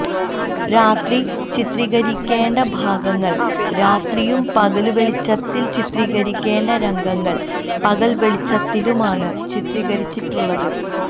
രാത്രി ചിത്രീകരിക്കേണ്ട ഭാഗങ്ങള് രാത്രിയും പകല് വെളിച്ചത്തില് ചിത്രീകരിക്കേണ്ട രംഗങ്ങള് പകല് വെളിച്ചത്തിലുമാണ് ചിത്രീകരിച്ചിട്ടുള്ളത്